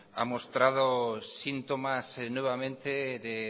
ha mostrado síntomas nuevamente de